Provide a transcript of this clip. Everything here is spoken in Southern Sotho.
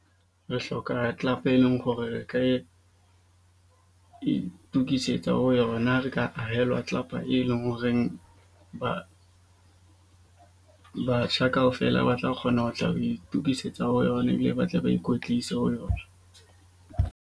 Re hloka club, e leng hore re ka itokisetsa ho yona re ka ahelwa tlelapa, e leng horeng batjha kaofela, ba tla kgona ho tla ho itukisetsa ho yona ebile ba tla ba ikwetlise ho yona.